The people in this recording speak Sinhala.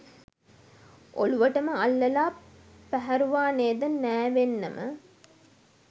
ඔළුවටම අල්ලලා පැහැරුවා නේද නෑවෙන්නම